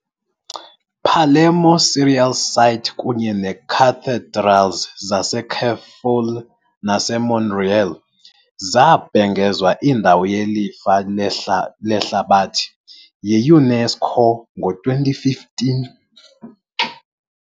Palermo serial site kunye neecathedrals zaseCefalù naseMonreale, zabhengezwa indawo yelifa lehlabathi yi-UNESCO ngo-2015.